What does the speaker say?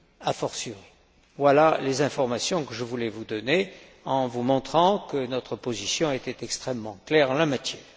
a fortiori. Voilà les informations que je voulais vous donner, en vous montrant que notre position était extrêmement claire en la matière.